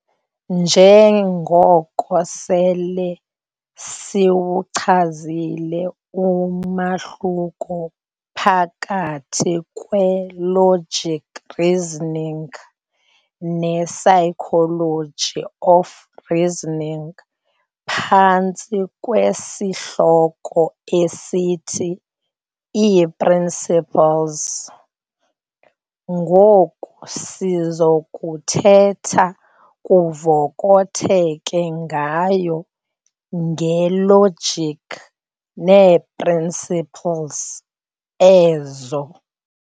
Nje ngoko sele siwuchazile umahluko phakathi kwe-"logic reasoning" ne-"psychology of reasoning" phantsi kwesihloko esithi 'ii-"principles", ngoku sizokuthetha kuvokotheke ngayo nge-logic neeprinciples ezo.